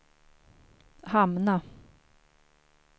hamna